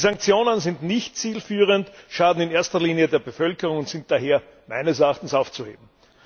Die Sanktionen sind nicht zielführend, schaden in erster Linie der Bevölkerung und sind daher meines Erachtens aufzuheben.